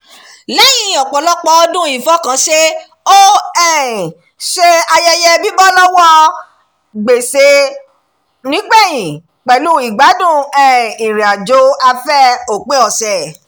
lẹ́yìn ọ̀pọ̀lọpọ̀ ọdún ìfọkànṣe ó um ṣe ayẹyẹ bíbọ́ bíbọ́ lọ́wọ́ gbèsè nígbẹ̀yìn pẹ̀lú ìgbádùn um ìrìnàjò-afẹ́ òpin ọ̀sẹ̀